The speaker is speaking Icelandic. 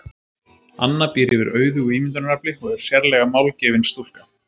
Anna býr yfir auðugu ímyndunarafli og er sérlega málgefin stúlka.